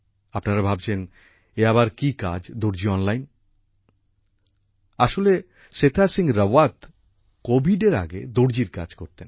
আপনারা ভাবছেন এ আবার কি কাজ দর্জি অনলাইন আসলে সেথা সিংহ রাবত কোভিড এর আগে দর্জির কাজ করতেন